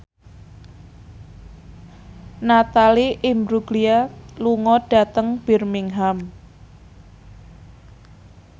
Natalie Imbruglia lunga dhateng Birmingham